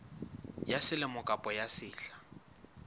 ya selemo kapa ya sehla